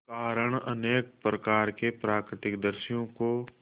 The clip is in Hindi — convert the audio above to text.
कारण अनेक प्रकार के प्राकृतिक दृश्यों को